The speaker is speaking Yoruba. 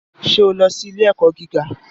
Ṣé o lọ sí ilé-ẹ̀kọ́ gíga?